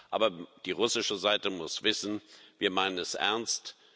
Aber die russische Seite muss wissen Wir meinen es ernst.